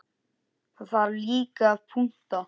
Það þarf líka að punta.